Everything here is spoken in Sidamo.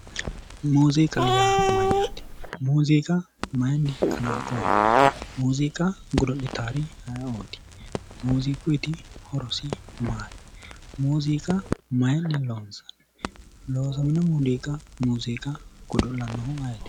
Muziiqa yaa mayyaate? Muziiqa mayiinni kalanqoonni? Muziiqa godo'litaari aye"oti? Muuziquyiiti horosi maati? Muziiqa mayiinni loonsanni? Loosamino muziiqa godo'lannohu ayeeti?